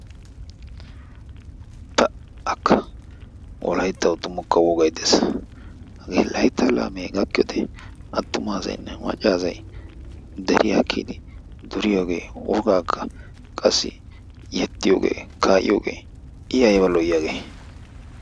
Pa"akka! Wolayttawu tumukka wogayi de'ees. Hagee layttaa laamee gakkiyode attuma asaynne macca asay de'iyagee duriyooge wogaakka qassi yexxiyooge kaa'iyogee i ayba lo"iyabee?